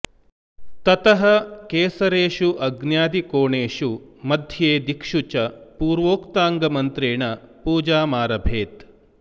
ततः केसरेषु अग्न्यादिकोणेषु मध्ये दिक्षु च पूर्वोक्ताङ्गमन्त्रेण पूजामारभेत्